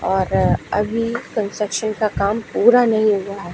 और अभी कंस्ट्रक्शन का काम पूरा नहीं हुआ--